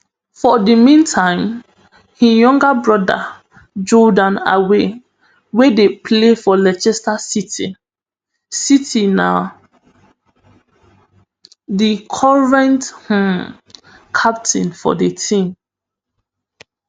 for di mean time im junior brother jordan ayew wey dey play for leicester city city na di current um captain for di team